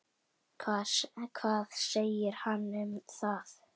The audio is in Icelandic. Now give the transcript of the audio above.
Hvað segir hann um það?